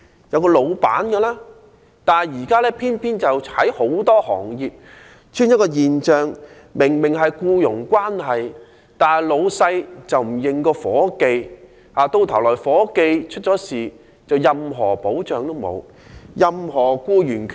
然而，現在偏偏很多行業出現一種現象，便是明明雙方是僱傭關係，老闆卻不認夥計，夥計如果發生意外，就得不到任何保障和僱員權益。